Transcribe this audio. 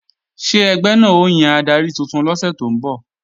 Ṣé ẹgbẹ́ náà ó yan adarí tuntun lọ́sẹ̀ tó ń bọ̀?